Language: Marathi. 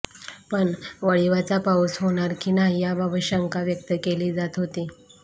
पण वळिवाचा पाऊस होणार की नाही याबाबत शंका व्यक्त केली जात होती